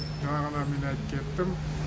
жаңа ғана мен айттып кеттім